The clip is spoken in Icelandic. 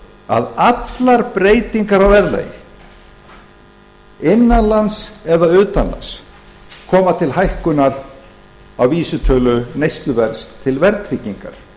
að allar breytingar á verðlagi innan lands eða utan lands koma til hækkunar á vísitölu neysluverðs til verðtryggingar